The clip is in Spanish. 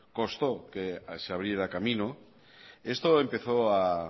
costó que se abriera camino esto empezó a